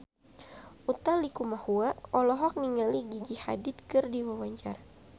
Utha Likumahua olohok ningali Gigi Hadid keur diwawancara